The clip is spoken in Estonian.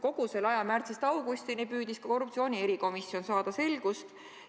Kogu selle aja, märtsist augustini, püüdis ka korruptsioonivastane erikomisjon saada selgust.